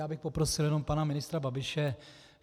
Já bych poprosil jenom pana ministra Babiše.